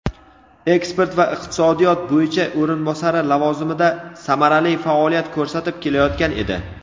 eksport va iqtisodiyot bo‘yicha o‘rinbosari lavozimida samarali faoliyat ko‘rsatib kelayotgan edi.